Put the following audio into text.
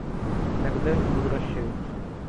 иногда они возвращаются